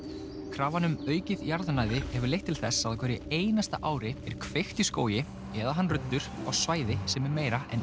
krafan um aukið jarðnæði hefur leitt til þess að á hverju einasta ári er kveikt í skógi eða hann ruddur á svæði sem er meira en